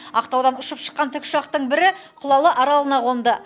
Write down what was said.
ақтаудан ұшып шыққан тікұшақтың бірі құлалы аралына қонды